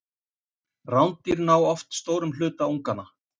rándýr ná oft stórum hluta unganna